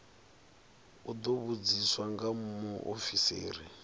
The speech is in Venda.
u ḓo vhudziswa nga muofisiri